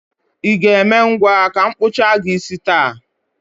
I ga-eme ngwa ka m kpụchaa gị isi taa?